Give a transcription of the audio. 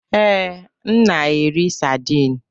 Ee, m na-eri saidin.